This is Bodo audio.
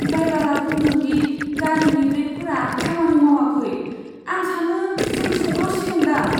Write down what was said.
ड्राइबारा बुंदों दि गारिनि ब्रेकफोरा खामानि मावाखै। आं सानो जों सौग्रावसिगोनदां!